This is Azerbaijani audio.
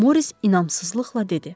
Moris inamsızlıqla dedi.